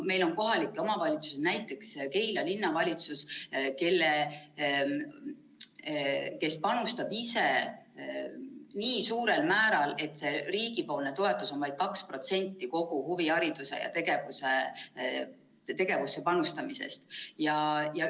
Meil on kohalikke omavalitsusi, näiteks Keila Linnavalitsus, kes panustab ise nii suurel määral, et riigi toetus on vaid 2% kogu huviharidusse ja ‑tegevusse panustamisest.